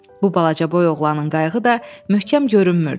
Bu balacaboy oğlanın qayığı da möhkəm görünmürdü.